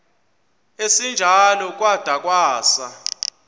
esinjalo kwada kwasa